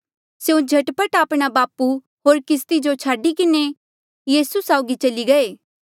स्यों झट पट आपणा बापू होर किस्ती जो छाडी किन्हें यीसू साउगी चली गये